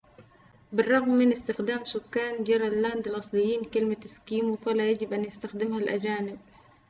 بالرغم من استخدام سكان جرينلاند الأصليين كلمة إسكيمو فلا يجب أن يستخدمها الأجانب